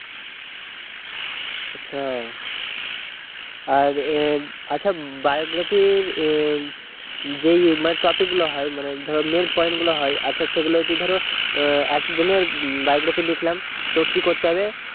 আচ্ছা আর এ আচ্ছা biography ইর, যেই মানে topic গুলো হয়, মানে ধরো main point গুলো হয় আচ্ছা সেগুলো যদি ধরো একজনের biography লিখলাম তো কি করতে হবে?